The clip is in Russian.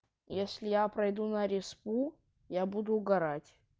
если я пройду на респу я буду угорать